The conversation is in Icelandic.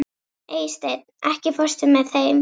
Eysteinn, ekki fórstu með þeim?